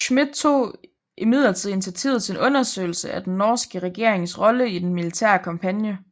Schmidt tog imidlertid initiativet til en undersøgelse af den norske regerings rolle i den militære kampagne